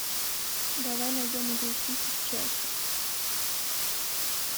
давай найдем игру сити с челси